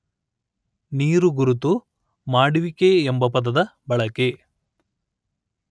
ನೀರುಗುರುತು ಮಾಡುವಿಕೆ ಎಂಬ ಪದದ ಬಳಕೆ